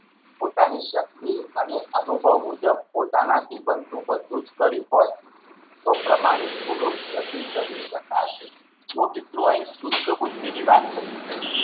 પોતાની શક્તિ અને અનુભવ મુજબ પોતાનાથી બનતું બધુજ કર્યું હોય તો પ્રમાણિત ભૂલો જતી કરી શકાશે જો મિત્રો અહીં શુષ્ટ બુદ્ધિની વાત કરી છે.